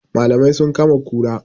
Malamai sun kama kura